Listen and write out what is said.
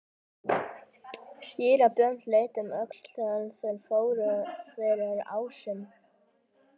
Síra Björn leit um öxl þegar þeir fóru fyrir ásinn.